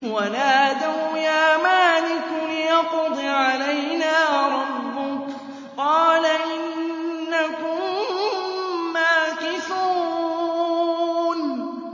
وَنَادَوْا يَا مَالِكُ لِيَقْضِ عَلَيْنَا رَبُّكَ ۖ قَالَ إِنَّكُم مَّاكِثُونَ